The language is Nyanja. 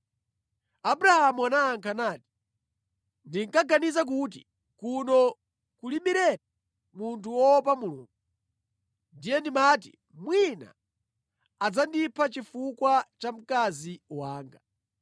Abrahamu anayankha nati, “Ndinkaganiza kuti kuno kulibiretu munthu woopa Mulungu. Ndiye ndimati mwina adzandipha chifukwa cha mkazi wanga.